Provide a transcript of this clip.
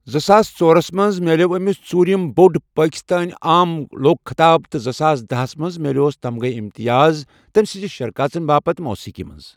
زٕساس ژۄرس مَنٛز میلیو أمس ژورم بوڈ پٲکِستٲنؠ آم لوک خطاب تہِ زٕساس دہَس مَنٛز میلوس تمغہ امتیاز تمسنز شرکاژن باپتھ موسکی مَنٛز.